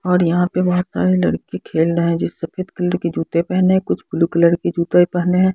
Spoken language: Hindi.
और यहां पे बहुत सारे लड़के खेल रहे हैं जो सफेद कलर के जूते पहने हैं कुछ ब्लू कलर की जूते पहने हैं।